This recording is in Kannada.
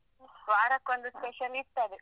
ವಾರಕ್ಕೊಂದ್ special ಇರ್ತದೆ.